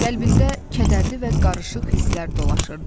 Qəlbində kədərli və qarışıq hisslər dolaşırdı.